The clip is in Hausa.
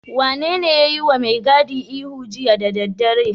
Wanene ya yiwa mai gadin ihu jiya da daddare?